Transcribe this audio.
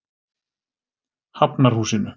Hafnarhúsinu